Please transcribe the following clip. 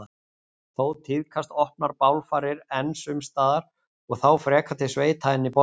Þó tíðkast opnar bálfarir enn sums staðar og þá frekar til sveita en í borgum.